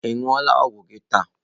Ị ṅụọla ọgwụ gị taa?